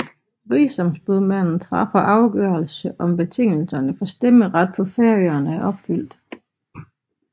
Rigsombudsmanden træffer afgørelse om betingelserne for stemmeret på Færøerne er opfyldt